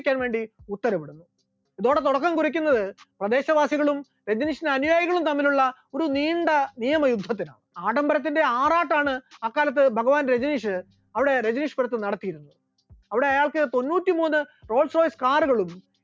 പ്രദേശവാസികളും രജനീഷിന്റെ അനുയായികളും തമ്മിലുള്ള ഒരു നീണ്ട നിയമ യുദ്ധത്തിന്, ആഡംബരത്തിന്റെ ആറാട്ടാണ് അക്കാലത്ത് ഭഗവാൻ രജനീഷ് അവിടെ രജനീഷ്‌പുരത്തിൽ നടത്തിയിരുന്നത്, അവിടെ അയാൾക്ക് തൊണ്ണൂറ്റിമൂന്ന് റോൾസ്‌റോയ്‌സ് car കളും